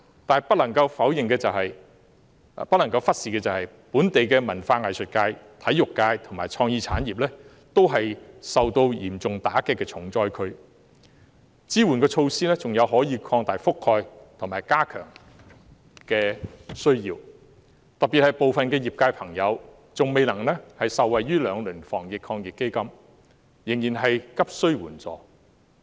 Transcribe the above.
但是，不能夠忽視的是本地文化藝術界、體育界和創意產業亦是受到嚴重打擊的重災區，支援措施還需擴大覆蓋範圍和予以加強，尤其是部分業界朋友未能受惠於兩輪的防疫抗疫基金，仍然急需援助。